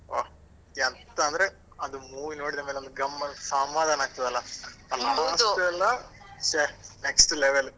ಹೊ ಎಂತ ಅಂದ್ರೆ ಅದು movie ನೋಡಿದ ಮೇಲೆ ಗಮ್ಮ~ ಸಮಾಧಾನ ಆಗ್ತಾದಲ. ಎಲ್ಲ ಷೆ next level .